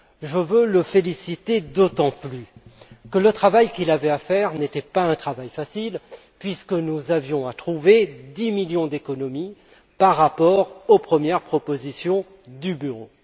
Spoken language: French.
Je veux le faire d'autant plus que le travail qu'il avait à faire n'était pas facile, puisque nous avions à trouver 10 millions d'euros d'économies par rapport aux premières propositions du Bureau.